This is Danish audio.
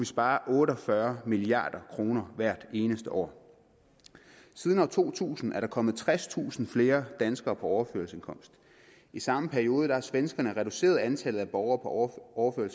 spare otte og fyrre milliard kroner hvert eneste år siden to tusind er der kommet tredstusind flere danskere på overførselsindkomst i samme periode har svenskerne reduceret antallet af borgere borgere